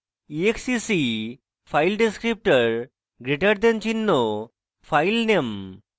exec file descriptor greater than চিহ্ন filename